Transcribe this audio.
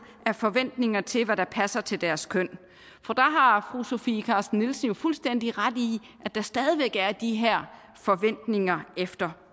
af forventninger til hvad der passer til deres køn og der har fru sofie carsten nielsen fuldstændig ret i at der stadig væk er de her forventninger efter